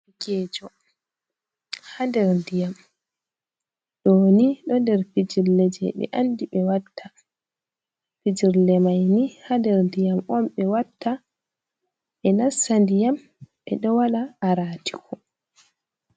Derekeejo haa nder ndiyam ɗo ni ,ɗo nder fijirle jey ɓe anndi ,ɓe watta fijirle may ni haa nder ndiyam on ɓe watta ,ɓe nasta ndiyam ɓe ɗo waɗa aratiko.